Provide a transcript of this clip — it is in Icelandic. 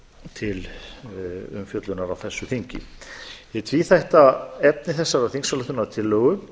til umfjöllunar á þessu þingi hið tvíþætta efni þessarar þingsályktunartillögu